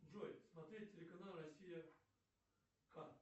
джой смотреть телеканал россия к